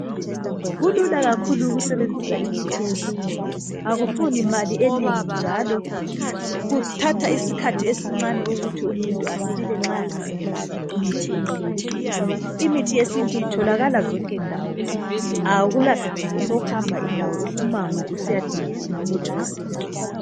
Kulula kakhulu ukusebenzisa imithi yesiNtu akufuni mali enengi njalo kuthatha isikhathi esincane ukuthi umuntu asile nxa engasebenzisa imithi yesiNtu. Imithi yesiNtu itholakala zonke ndawo akulasidingo sokuhamba indawo, umango usiyadinga umuthi wesiNtu.